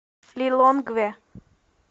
лилонгве